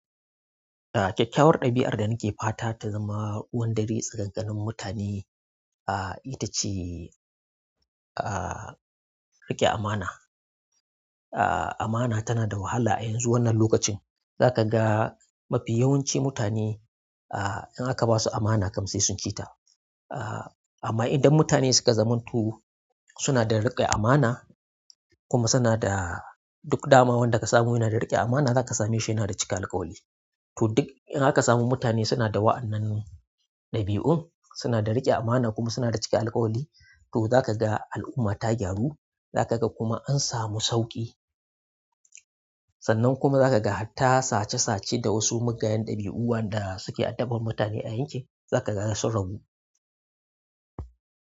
Eh kyakkyawar ɗabi'ar da nake fata ta zama ruwan dare tsakanin mutane, ah ita ce ah riƙe amana. Ah amana tana da wahala yanzu wannan lokacin, zaka ga mafi yawanci mutane ah in aka basu amana kam sai sun ci ta. Ah amma idan mutane suka zamto suna da riƙe amana kuma suna da duk dama wanda ka samu yana da riƙe amana zaka same shi yana da cika alkawari to duk in aka samu mutane suna da waɗannan ɗabi'un, suna da riƙe amana kuma suna da cika alkawari to zaka ga al'umma ta gyaru, zaka ga kuma an samu sauƙi. Sannan kuma hatta sace sace da wasu mugayen dabiu waɗanda suke addabar mutane a yankin zakaga sun ragu.